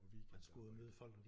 Og weekendarbejde